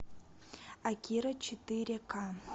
акира четыре ка